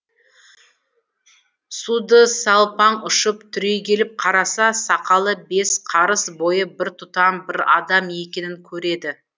судысалпаң ұшып түрегеліп қараса сақалы бес қарыс бойы бір тұтам бір адам екенін көреді